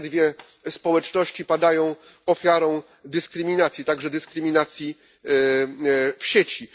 To te dwie społeczności padają ofiarą dyskryminacji, także dyskryminacji w sieci.